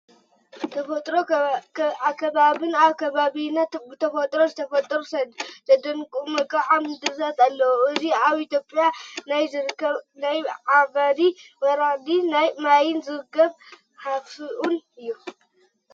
ተፈጥሮን ኣከባብን፡- ኣብ ከባቢና ብተፈጥሮ ዝተፈጠሩ ዘደንቑ መልክዓ ምድርታት ኣለው፡፡ እዚ ኣብ ኢ/ያ ናይ ዝርከብ ናይ ዓባይ ወራዲ ማይን ዝገርም ሃፉኡን እዩ፡፡